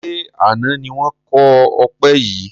Ṣé àna ni wọn kọ ọpẹ yìí?